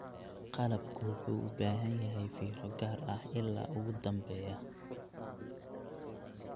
Qalabku wuxuu u baahan yahay fiiro gaar ah ilaa ugu dambeeya.